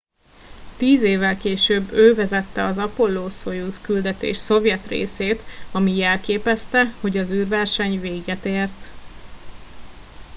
tíz évvel később ő vezette az apollo szojuz küldetés szovjet részét ami jelképezte hogy az űrverseny véget ért